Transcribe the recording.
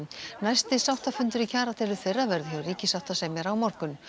næsti sáttafundur í kjaradeilu þeirra verður hjá ríkissáttasemjara á morgun